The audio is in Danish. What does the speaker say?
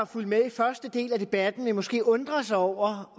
fulgt med i første del af debatten vil måske undre sig over